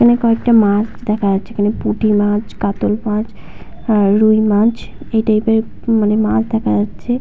এখানে কয়েকটি মাছ দেখা যাচ্ছে এখানে পুঁটি মাছ কাতল মাছ আর রুই মাছ। এই টাইপের মানে মাছ দেখা যাচ্ছে ।